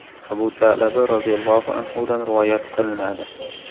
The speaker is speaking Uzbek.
Abu Sa’laba roziyallohu anhudan rivoyat qilinadi.